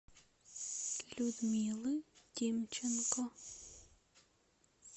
людмилы тимченко